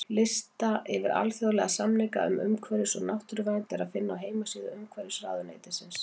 Lista yfir alþjóðlega samninga um umhverfis- og náttúruvernd er að finna á heimasíðu Umhverfisráðuneytisins.